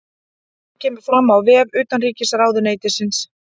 Þetta kemur fram á vef utanríkisráðuneytisins